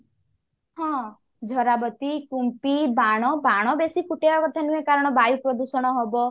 ହଁ ଝରାବତୀ କୁମ୍ପି ବାଣ ବାଣ ବେସି ଫୁଟେଇବା କଥା ନୁହେଁ କାରଣ ବାୟୁ ପ୍ରଦୂଷଣ ହବ